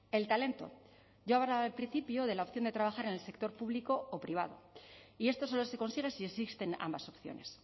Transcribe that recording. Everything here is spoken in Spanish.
el talento yo hablaba al principio de la opción de trabajar en el sector público o privado y esto solo se consigue si existen ambas opciones